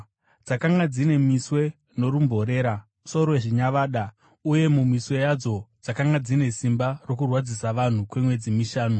Dzakanga dzine miswe norumborera sorwezvinyavada, uye mumiswe yadzo dzakanga dzine simba rokurwadzisa vanhu kwemwedzi mishanu.